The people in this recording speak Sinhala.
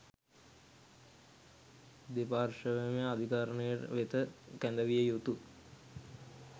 දෙපාර්ශ්වයම අධිකරණය වෙත කැඳවිය යුතු